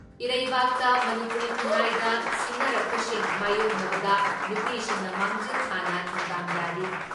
ꯏꯔꯩꯕꯥꯛꯇ ꯃꯅꯤꯄꯨꯔꯤ ꯈꯨꯟꯅꯥꯏꯗ ꯁꯤꯡꯅꯔꯛꯄꯁꯤꯡ ꯃꯥꯏꯌꯣꯛꯅꯕꯗ ꯅꯨꯄꯤꯁꯤꯡꯅ ꯃꯥꯡꯖꯤꯜ ꯊꯥꯅ ꯊꯧꯗꯥꯡ ꯌꯥꯔꯤ ꯫